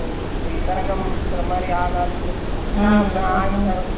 அந்த சீலை கொடுத்துட்டாங்க அது shining னா சீலை நல்லா இருந்து.